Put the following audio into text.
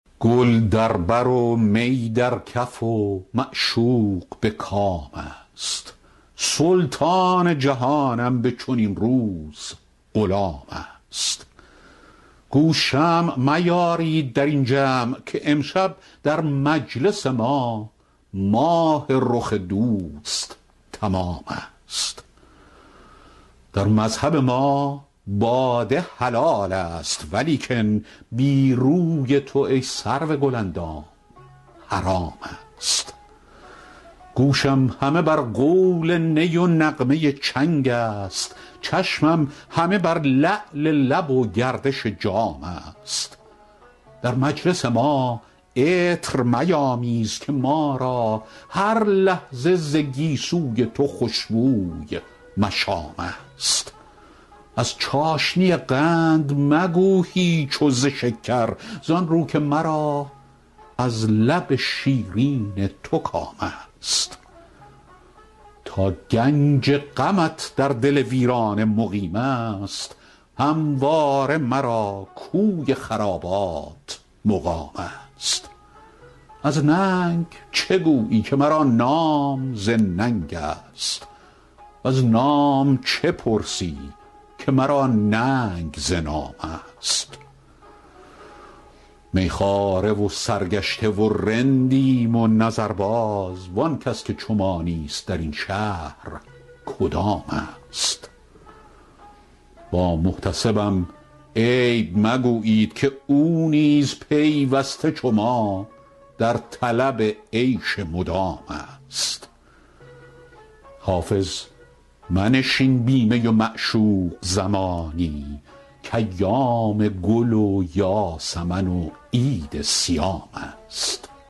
گل در بر و می در کف و معشوق به کام است سلطان جهانم به چنین روز غلام است گو شمع میارید در این جمع که امشب در مجلس ما ماه رخ دوست تمام است در مذهب ما باده حلال است ولیکن بی روی تو ای سرو گل اندام حرام است گوشم همه بر قول نی و نغمه چنگ است چشمم همه بر لعل لب و گردش جام است در مجلس ما عطر میامیز که ما را هر لحظه ز گیسو ی تو خوش بوی مشام است از چاشنی قند مگو هیچ و ز شکر زآن رو که مرا از لب شیرین تو کام است تا گنج غمت در دل ویرانه مقیم است همواره مرا کوی خرابات مقام است از ننگ چه گویی که مرا نام ز ننگ است وز نام چه پرسی که مرا ننگ ز نام است می خواره و سرگشته و رندیم و نظرباز وآن کس که چو ما نیست در این شهر کدام است با محتسبم عیب مگویید که او نیز پیوسته چو ما در طلب عیش مدام است حافظ منشین بی می و معشوق زمانی کایام گل و یاسمن و عید صیام است